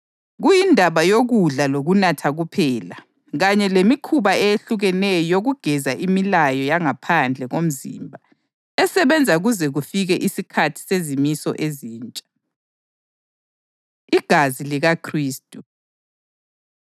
Kuyindaba yokudla lokunatha kuphela kanye lemikhuba eyehlukeneyo yokugeza imilayo yangaphandle komzimba esebenza kuze kufike isikhathi sezimiso ezintsha. Igazi LikaKhristu